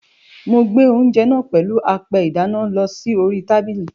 Mo gbé oúnjẹ náà pèlú apẹ ìdáná lọ sí orí tábìlì.